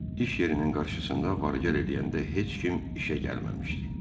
İş yerinin qarşısında varı gəl eləyəndə heç kim işə gəlməmişdi.